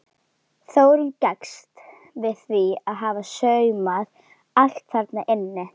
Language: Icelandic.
Þórunn gengst við því að hafa saumað allt þarna inni.